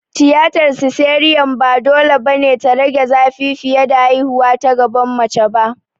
Tiyatar siseriyan ba dole ba ne ta rage zafi fiye da haihuwa ta gaban mace ba.